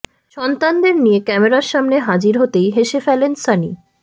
সন্তানদের নিয়ে ক্যামেরার সামনে হাজির হতেই হেসে ফেলেন সানি